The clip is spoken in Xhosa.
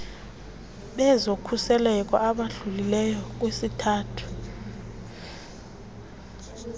bezokhuseleko abadlulileyo kwisithathu